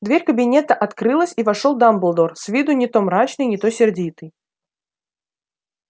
дверь кабинета открылась и вошёл дамблдор с виду не то мрачный не то сердитый